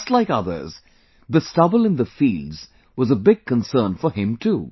Just like others, the stubble in the fields was a big concern for him too